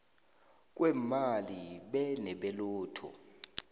kweemali be nebelotto